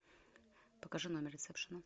покажи номер ресепшена